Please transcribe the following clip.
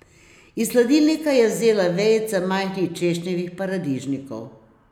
Iz hladilnika je vzela vejice majhnih češnjevih paradižnikov.